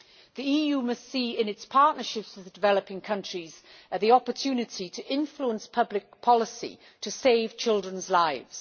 The EU must see in its partnership with the developing countries the opportunity to influence public policy to save children's lives.